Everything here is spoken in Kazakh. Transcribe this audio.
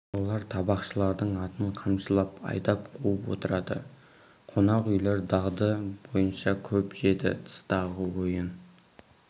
олар табақшылардың атын қамшылап айдап қуып отырады қонақ үйлер дағды бойынша көп жеді тыстағы ойын